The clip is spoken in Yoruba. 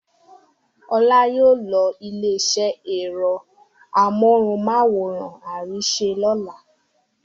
Ọlá yóò lọ ilé-iṣẹ́ ẹ̀rọ amóhùmáwòhán Arise lọ́la.